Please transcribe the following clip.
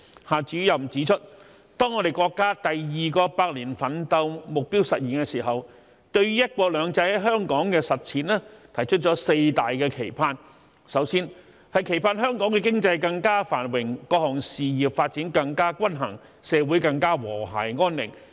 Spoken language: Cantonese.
夏主任指出，當國家第二個百年奮鬥目標實現的時候，對於"一國兩制"在香港的實踐提出了四大期盼：首先，期盼香港的經濟更加繁榮，各項事業發展更加均衡，社會更加和諧安寧。